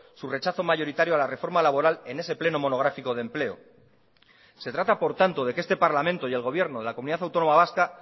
su rechazo mayoritario a la reforma laboral en ese pleno monográfico de empleo se trata por tanto de que este parlamento y el gobierno de la comunidad autónoma vasca